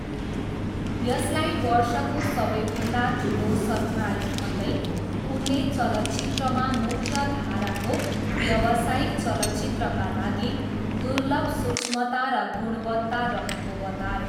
यसलाई वर्षको सबैभन्दा ठुलो सरप्राइज भन्दै उनले चलचित्रमा मुख्यधाराको व्यावसायिक चलचित्रका लागि दुर्लभ सूक्ष्मता र गुणवत्ता रहेको बताए।